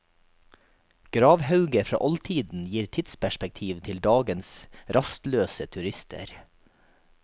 Gravhauger fra oldtiden gir tidsperspektiv til dagens rastløse turister.